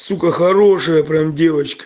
сука хорошая прям девочка